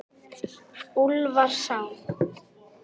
Úlfarsá